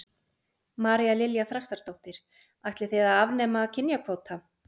María Lilja Þrastardóttir: Ætlið þið að afnema kynjakvóta?